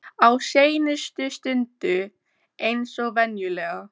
Á seinustu stundu eins og venjulega.